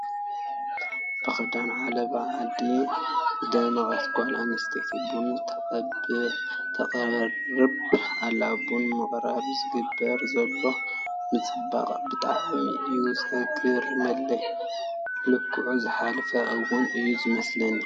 ብኽዳን ዓለባ ዓዲ ዝደመቐት ጓል ኣነስተይቲ ቡና ተቕርብ ኣላ፡፡ ቡን ንምቕራብ ዝግበር ዘሎ ምፅብባቕ ብጣዕሚ እዩ ዘግርመለይ፡፡ ልክዑ ዝሓለፈ እውን እዩ ዝመስለኒ፡፡